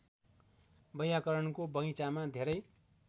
वैयाकरणको बगैंचामा धेरै